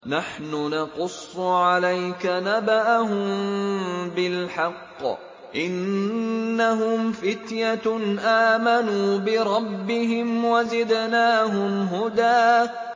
نَّحْنُ نَقُصُّ عَلَيْكَ نَبَأَهُم بِالْحَقِّ ۚ إِنَّهُمْ فِتْيَةٌ آمَنُوا بِرَبِّهِمْ وَزِدْنَاهُمْ هُدًى